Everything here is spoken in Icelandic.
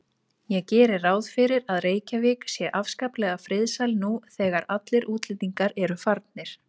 Ég geri ráð fyrir að Reykjavík sé afskaplega friðsæl nú þegar allir útlendingar eru farnir.